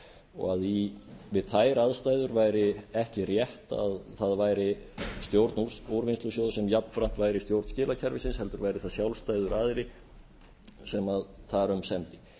og að við þær aðstæður væri ekki rétt að það væri stjórn úrvinnslusjóðs sem jafnframt væri stjórn skilakerfisins heldur væri það sjálfstæður aðili sem þar um semdi